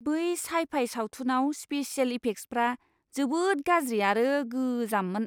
बै साइ फाइ सावथुनाव स्पेसियेल इफेक्ट्सआ जोबोद गाज्रि आरो गोजाममोन!